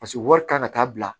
Paseke wari kan ka taa bila